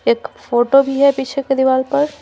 एक फोटो भी है पीछे के दीवार पर।